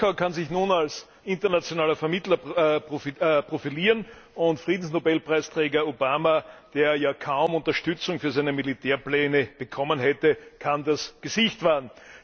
Moskau kann sich nun als internationaler Vermittler profilieren, und Friedensnobelpreisträger Obama, der ja kaum Unterstützung für seine Militärpläne bekommen hätte, kann das Gesicht wahren.